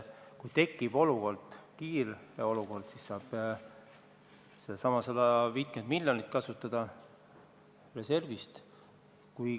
Kui tekib kriitiline olukord, siis saab kasutada seda 50 miljonit reservist.